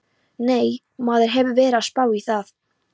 Nei, maður hefur verið að spá í það.